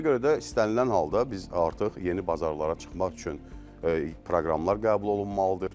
Ona görə də istənilən halda biz artıq yeni bazarlara çıxmaq üçün proqramlar qəbul olunmalıdır.